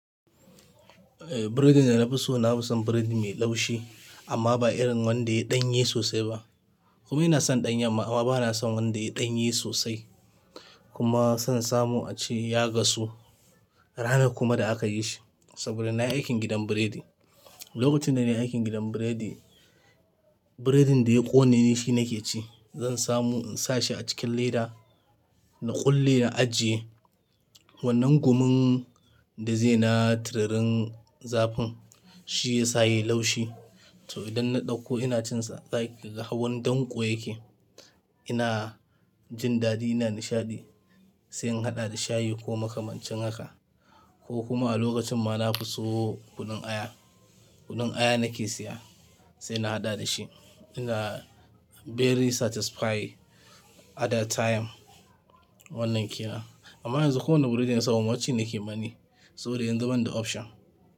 Eh, biredin da na fi so na fi son biredi mai laushi amma ba irin wanda ya yi ɗanye sosai ba. Kuma ina son ɗan yamma amma ba na son wanda ya yi ɗanye sosai. Ko kuma san samu a ce ya gasu ranar kuma da aka yi shi saboda na yi aikin gidan biredi. Lokacin da na yi aikin gidan biredi, biredin da ya ƙone shi nake ci. Zan samu in sa shi a cikin leda, na ƙulle na ajiye wannan gumun da zai na tiririn zafin, shi ya sa ya yi laushi. To idan na ɗauko ina cin sa, har wani danƙo yake. Ina jin daɗi, ina nishaɗi sai in haɗa da shayi ko makamancinn haka ko kuma a lokacin ma na fi so kunun aya. Kunin aya nake siya sai na haɗa da shi. Ina very satisfy at that time wannan ke nan. Amma yanzu kowane biredi na samu ci nake ma ni saboda in zu banda option.